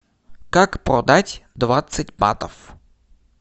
как продать двадцать батов